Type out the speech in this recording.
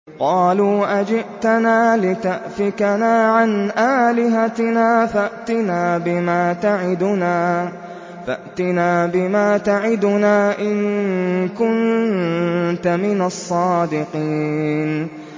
قَالُوا أَجِئْتَنَا لِتَأْفِكَنَا عَنْ آلِهَتِنَا فَأْتِنَا بِمَا تَعِدُنَا إِن كُنتَ مِنَ الصَّادِقِينَ